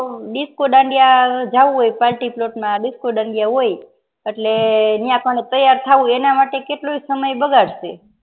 disco dandiya જાઉં હોય party plot માં disco દાંડિયા હોય અને એટલે યાં આપણને તૈયાર થઉં એના માટે કેટલોય સમય બગાડ શે